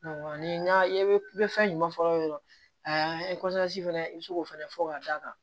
ni y'a ye i bɛ fɛn ɲuman fɔ dɔrɔn a ye fana i bɛ se k'o fɛnɛ fɔ ka da kan